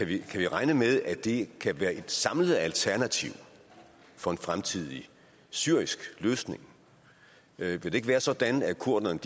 vi kan regne med at det kan være et samlet alternativ for en fremtidig syrisk løsning vil det ikke være sådan at kurderne